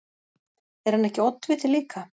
Er hann ekki oddviti líka?